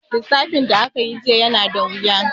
Lissafin da aka yi jiya yana da wuya.